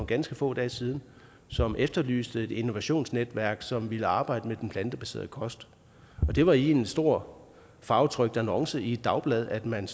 ganske få dage siden som efterlyste et innovationsnetværk som ville arbejde med den plantebaserede kost og det var i en stor farvetrykt annonce i et dagblad at man